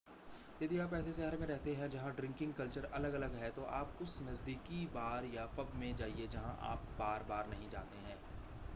यदि आप ऐसे शहर में रहते है जहां ड्रिंकिंग कल्चर अलग-अलग है तो आप उस नज़दीकी बार या पब में जाइए जहां आप बार-बार नहीं जाते हैं